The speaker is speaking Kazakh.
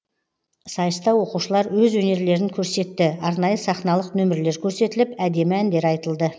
сайыста оқушылар өз өнерлерін көрсетті арнайы сахналық нөмірлер көрсетіліп әдемі әндер айтылды